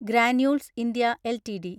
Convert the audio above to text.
granules India LTD